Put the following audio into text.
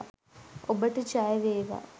ඔබට ජයවේවා